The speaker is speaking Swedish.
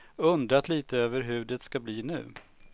Undrat lite över hur det ska bli nu.